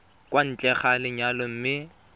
kwa ntle ga lenyalo mme